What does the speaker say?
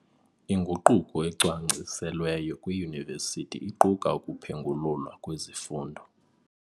Inguquko ecwangciselweyo kwiiyunivesithi iquka ukuphengululwa kwezifundo.